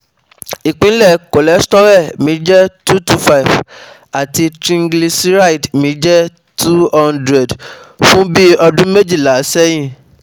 Ipinle cholesterol mi je two two five ati triglyceride mi je two hundred fun bi odun mejila sehin